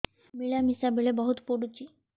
ମିଳାମିଶା ବେଳେ ବହୁତ ପୁଡୁଚି